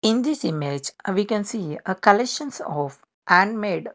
in this image uh we can see uh collections of hand made.